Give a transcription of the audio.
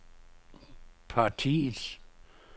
partiets